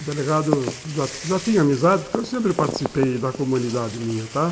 O delegado já já tem amizade, porque eu sempre participei da comunidade minha, tá?